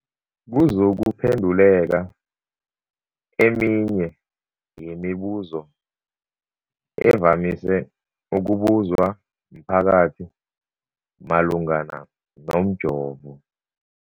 kuzokuphe nduleka eminye yemibu zo evamise ukubuzwa mphakathi malungana nomjovo.